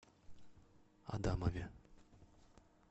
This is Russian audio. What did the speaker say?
адамове